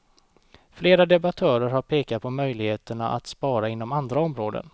Flera debattörer har pekat på möjligheterna att spara inom andra områden.